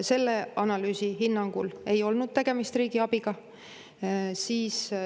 Selle analüüsi hinnangul ei olnud tegemist riigiabiga.